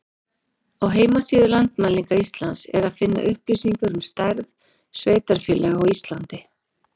Á heimasíðu Landmælinga Íslands er að finna upplýsingar um stærð sveitarfélaga á Íslandi.